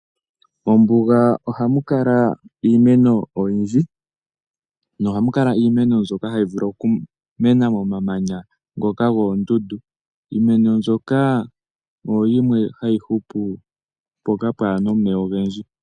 Ombuga ohamukala iimeno oyindji nohamukala iimeno mbyoka hayivulu okumena momamanya ngoka goondundu iimeno mbyoka oyo yimwe hayi hupu mpoka pwaana omeya ogendji.